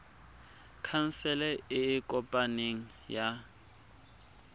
khansele e e kopaneng ya